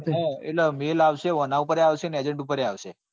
એટલે mail આવશે આના પર એ આવશે ને agent પર એ આવશે.